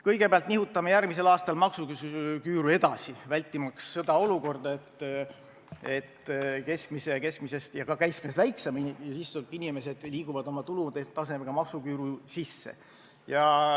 Kõigepealt nihutame järgmisel aastal maksuküüru edasi, vältimaks seda olukorda, et keskmise sissetulekuga ja ka keskmisest väiksema sissetulekuga inimesed liiguvad oma tulutasemega maksuküüru sisse.